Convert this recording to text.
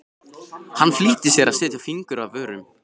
Hann flýtti sér að setja fingur að vörum.